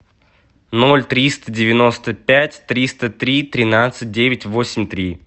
ноль триста девяносто пять триста три тринадцать девять восемь три